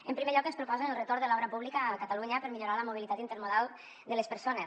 en primer lloc ens proposen el retorn de l’obra pública a catalunya per millorar la mobilitat intermodal de les persones